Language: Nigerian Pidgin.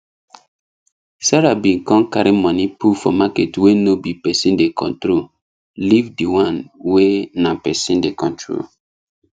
sarah bin come carry money put for market wey no be person dey control leave di one wey na person dey control